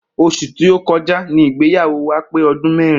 Os̩ù tí ó ko̩já ni ìgbéyàwó wa pé o̩dún mé̩rin